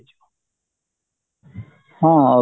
ହଁ